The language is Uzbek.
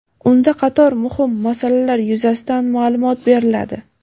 unda qator muhim masalalar yuzasidan maʼlumot beriladi.